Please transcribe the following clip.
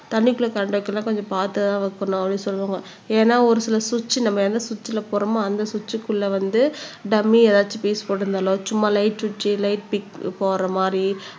தண்ணிக்குள்ள எல்லாம் கொஞ்சம் பார்த்துதான் வைக்கணும் அப்படின்னு சொல்லுவாங்க ஏன்னா ஒரு சில சுவிட்ச் நம்ம என்ன சுவிட்ச்ல போடுறோமோ அந்த சுவிட்ச்க்குள்ள வந்து டம்மி எதாச்சும் பியூஸ் போட்டிருந்தாலோ சும்மா லைட் சுவிட்ச் லைட் பிக் போடுற மாதிரி